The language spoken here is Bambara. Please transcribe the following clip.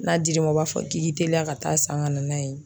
N'a dir'i ma u b'a fɔ k'i teliya ka taa san ka na n'a ye.